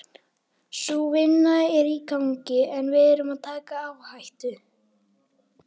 Sú vinna er í gangi en við erum að taka áhættu.